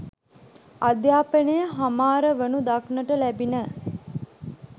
අධ්‍යාපනය හමාරවනු දක්නට ලැබිණ